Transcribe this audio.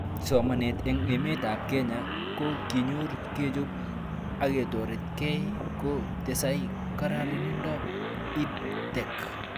Somanet eng' emet ab Kenya ko kinyor kechop aketoretkei ko tesei kararindop EdTech